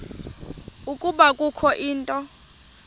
ukuba kukho into